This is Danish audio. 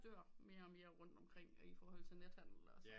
Dør mere og mere rundt omkring iforhold til nethandel og sådan